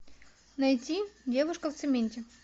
найти девушка в цементе